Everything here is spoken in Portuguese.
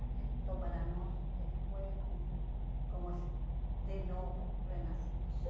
Então para nós eh foi um como se de novo renascemos.